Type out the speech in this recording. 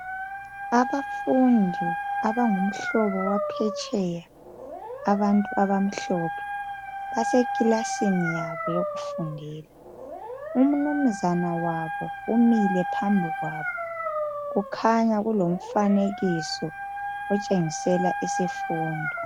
Abafundi abangumhlobo waphetsheya abantu abamhlophe basekilasini yabo yokufundela umnumzana wabo umile phamblili kwabo kukhanya kulomfanekiso otshengisela isifundo